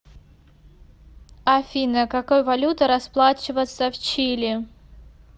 афина какой валютой расплачиваются в чили